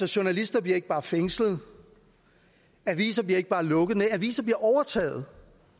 journalister bliver ikke bare fængslet aviser bliver ikke bare lukket nej aviser bliver overtaget